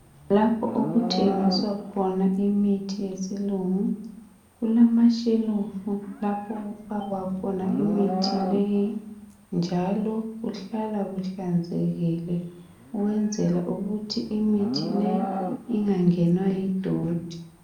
Lapho okuthengiswa khona imithi yesilungu kulamashelufu lapho okufakwa khona imithi leyi njalo kuhlala kuhlanzekile ukwenzela ukuthi imithi leyi ingangenwa yi doti.